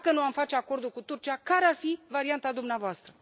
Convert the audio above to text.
Dacă nu am face acordul cu Turcia, care ar fi varianta dumneavoastră?